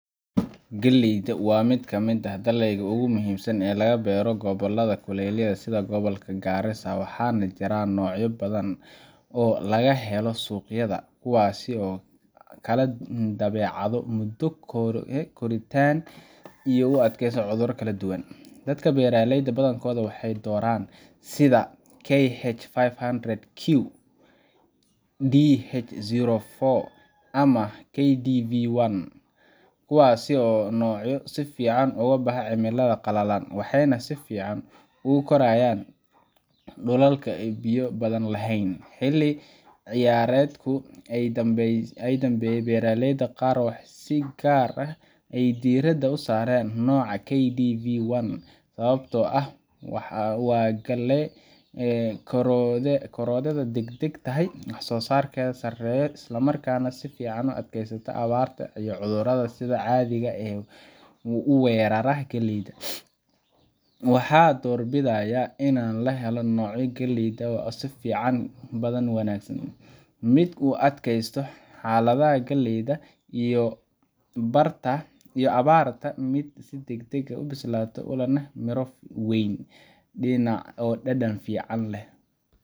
Gaalleyda waa mid ka mid ah dalagyada ugu muhiimsan ee laga beero gobollada kulaylaha ah sida gobolka Gaarisa, waxaana jira noocyo badan oo laga heli karo suuqyada, kuwaas oo kala leh dabeecado, muddo koritaan iyo u adkaysi cudur kala duwan. Dadka beeraleyda ah badankoodu waxay doortaan noocyo sida KH five hundred Q, DH zero four, ama KDV one, kuwaas oo ah noocyo si fiican uga baxa cimilada qallalan, waxayna si fiican ugu korayaan dhulalka aan biyo badan lahayn. Xilli-ciyaareedkii u dambeeyay, beeraleyda qaar waxay si gaar ah diiradda u saareen nooca KDV one sababtoo ah waa gaalle korodheeda degdeg tahay, wax-soo-saarkeeda sareeyo, isla markaana si fiican u adkaysata abaarta iyo cudurrada sida caadiga ah u weerara galleyda. Waxaan doorbidayaa in la beero nooc galley ah oo leh sifooyin badan oo wanaagsan: mid u adkaysta xaaladaha kuleylka iyo abaarta, mid si degdeg ah u bislaada, oo leh miro weyn, dhadhan fiican, leh